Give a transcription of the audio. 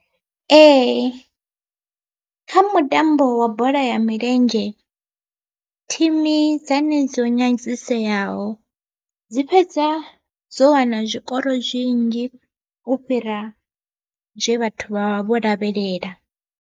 Ee kha mutambo wa bola ya milenzhe thimu dzane dzo nyadziseaho dzi fhedza dzo wana zwikoro zwinzhi u fhira zwe vhathu vha vha vho lavhelela.